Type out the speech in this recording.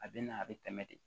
A bɛ na a bɛ tɛmɛ de